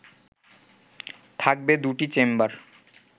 থাকবে দুটি চেম্বার